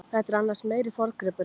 Þetta er annars meiri forngripurinn.